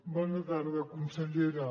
bona tarda consellera